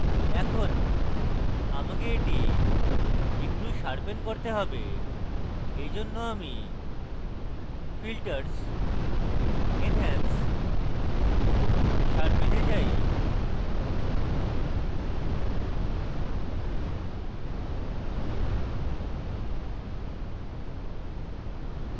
এখন আমাকে এটি একটু sharpen করতে have তাই আমি filters enhance sharpen a যাই